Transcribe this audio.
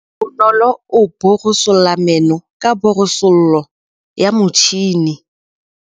Bonolô o borosola meno ka borosolo ya motšhine.